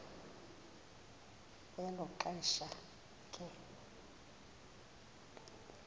kwelo xesha ke